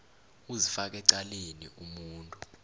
uzifaka ecaleni umuntu